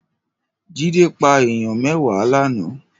Jide pá àáyàn mèwá làná